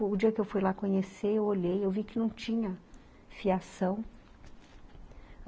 O dia que eu fui lá conhecer, eu olhei, eu vi que não tinha fiação.